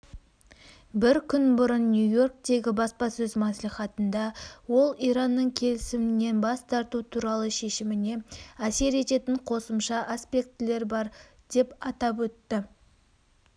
бір күн бұрын нью-йорктегі баспасөз мәслихатында ол иранның келісімнен бас тарту туралы шешіміне әсер ететін қосымша аспектілер бар деп атап өтті